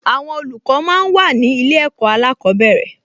Àwọn olùkọ́ máa ń wà ní ilé ẹ̀kọ́ alákọ̀ọ́bẹ̀rẹ̀